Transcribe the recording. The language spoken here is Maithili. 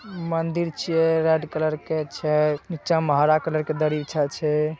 मंदिर छीये रेड कलर के छै नीचा मे हरा कलर के दरी छै।